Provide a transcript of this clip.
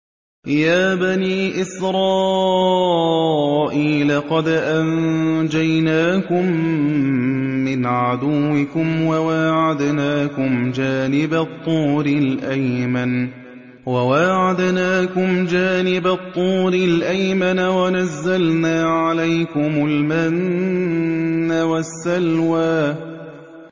يَا بَنِي إِسْرَائِيلَ قَدْ أَنجَيْنَاكُم مِّنْ عَدُوِّكُمْ وَوَاعَدْنَاكُمْ جَانِبَ الطُّورِ الْأَيْمَنَ وَنَزَّلْنَا عَلَيْكُمُ الْمَنَّ وَالسَّلْوَىٰ